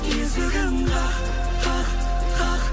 есігін қақ қақ қақ